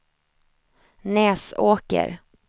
Näsåker